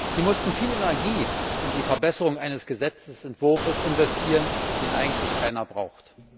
Sie mussten viel Energie in die Verbesserung eines Gesetzentwurfes investieren, den eigentlich keiner braucht.